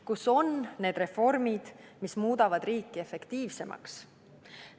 Kus on need reformid, mis muudavad riiki efektiivsemaks?